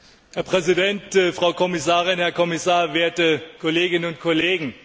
Herr Präsident, Frau Kommissarin, Herr Kommissar, werte Kolleginnen und Kollegen!